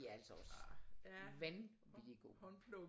De er altså også vanvittigt gode